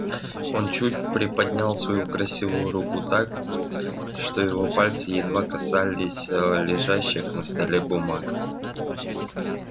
он чуть приподнял свою красивую руку так что его пальцы едва касались лежащих на столе бумаг